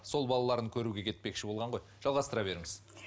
сол балаларын көруге кетпекші болған ғой жалғастыра беріңіз